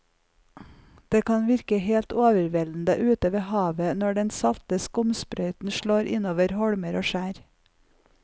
Det kan virke helt overveldende ute ved havet når den salte skumsprøyten slår innover holmer og skjær.